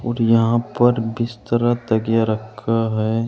और यहां पर बिस्तरा और तकिया रखा है।